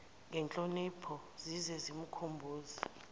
ngenhlonipho zize zimkhumbuze